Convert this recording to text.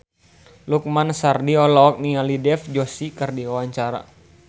Lukman Sardi olohok ningali Dev Joshi keur diwawancara